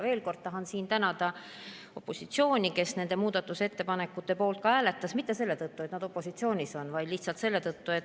Veel kord tahan siin tänada opositsiooni, kes nende muudatusettepanekute poolt hääletas, ja hääletas mitte selle tõttu, et nad opositsioonis on.